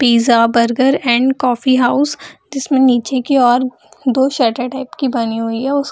Pizza burger and coffee house जिसमें निचे की और दो शटर टाइप की बनी हुई है। उस --